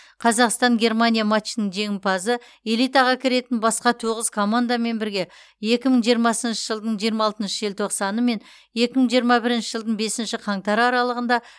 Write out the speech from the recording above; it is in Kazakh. қазақстан германия матчының жеңімпазы элитаға кіретін басқа тоғыз командамен бірге екі мың жиырмасыншы жылдың жиырма алтыншы желтоқсаны мен екі мың жиырма бірінші жылдың бесінші қаңтары аралығында